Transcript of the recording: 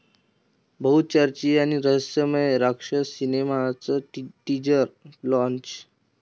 बहुचर्चित आणि रहस्यमय राक्षस सिनेमाचं टीजर लाँच!